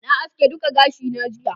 na haske duka gashi na jiya